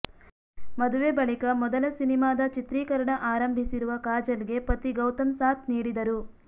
ಮದುವೆ ಬಳಿಕ ಮೊದಲ ಸಿನಿಮಾದ ಚಿತ್ರೀಕರಣ ಆರಂಭಿಸಿರುವ ಕಾಜಲ್ಗೆ ಪತಿ ಗೌತಮ್ ಸಾಥ್ ನೀಡಿದರು